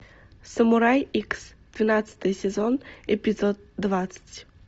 самурай икс двенадцатый сезон эпизод двадцать